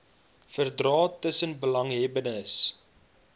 verdrae tussen belanghebbendes